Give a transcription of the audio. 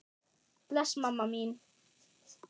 Bless mamma mín.